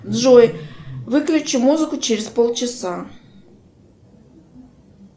джой выключи музыку через полчаса